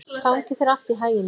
Gangi þér allt í haginn, Írena.